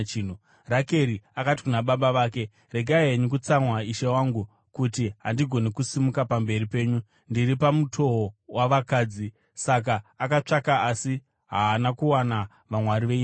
Rakeri akati kuna baba vake, “Regai henyu kutsamwa, ishe wangu, kuti handigoni kusimuka pamberi penyu; ndiri pamutowo wavakadzi.” Saka akatsvaka asi haana kuwana vamwari veimba yake.